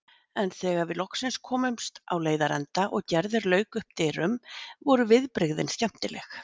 En þegar við loksins komumst á leiðarenda og Gerður lauk upp dyrum, voru viðbrigðin skemmtileg.